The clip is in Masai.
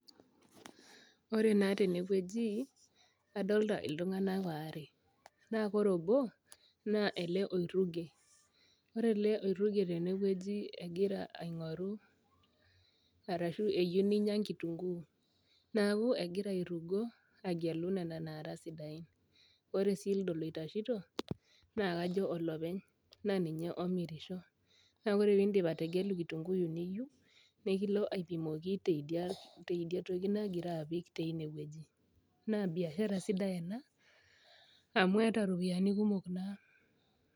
Ore na tenewueji adolta ltunganak aare na ore obo ele oiruge ore oloruge tenewueji egira aingoru arashu eyieu ninya nkitunguu neaku egira airugo agelu nona nara sidain ore si ele oitashito na kajo olopeny na ninye omirisho na ore pindip ategelu kitunguu niyeu nikilo aipimaki tidia toki nagira apik tinewueji na biashara sidai amu eeta ropiyani kumok kuna.